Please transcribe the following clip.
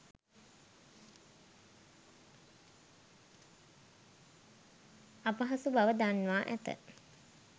අපහසු බව දන්වා ඇත.